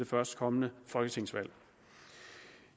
førstkommende folketingsvalg